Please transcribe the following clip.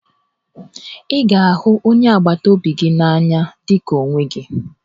Ị ga-ahụ onye agbataobi gị n'anya dị ka onwe gị